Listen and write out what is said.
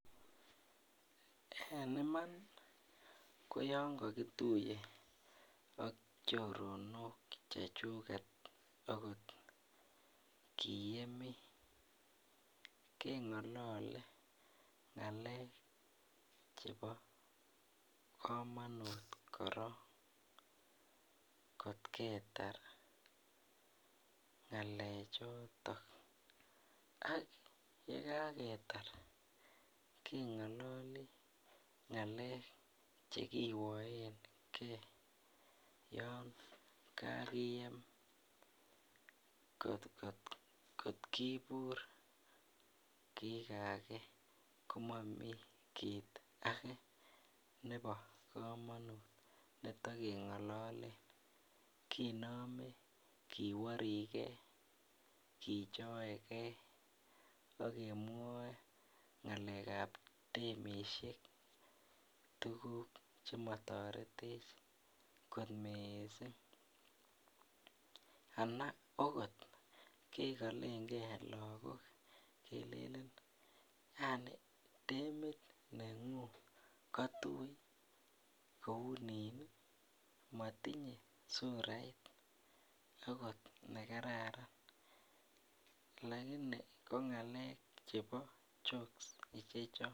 En iman yonkagituye ak chorinok chechuget kiyemii kengolole ngalek chebo kamanut korong kotketar ak yekaketar kengololi ngalek kiwoen gee yonkagiyem kotkibur kikagen komamii kiit age nebo kamanut netegengalolen kinome kiworigeekijoe gee akemwoe ngalek kab demisiek tuguk chemotoretech kot missing anan agot kekolengee lakok kebore agot demit nengung kotui kounini motinye surait ago ne kararan lakini kongalek chebo jokes ichochon